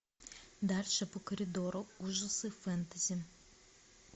дальше по коридору ужасы фэнтези